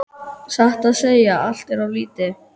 Satt að segja allt of lítið.